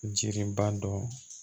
Jiri ba dɔn